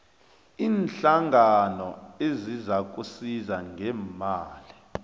iinhlangano ezizakusiza ngeemali